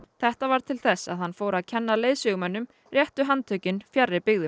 þetta varð til þess að hann fór að kenna leiðsögumönnum réttu handtökin fjarri byggðum